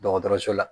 Dɔgɔtɔrɔso la